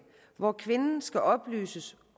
hvor kvinden skal oplyses